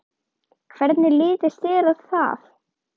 Hvernig litist þér á það?